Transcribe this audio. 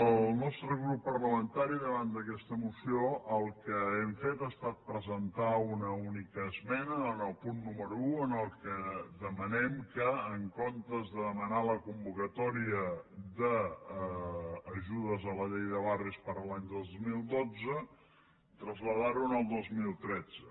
el nostre grup parlamentari davant d’aquesta moció el que hem fet ha estat presentar una única esmena en el punt número un en què demanem en comptes de de·manar la convocatòria d’ajudes a la llei de barris per a l’any dos mil dotze traslladar·ho a l’any dos mil tretze